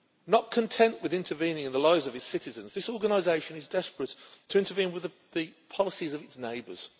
Not content with intervening in the lives of its citizens, this organisation is desperate to intervene with the policies of its neighbours.